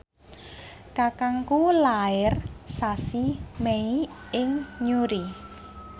kakangku lair sasi Mei ing Newry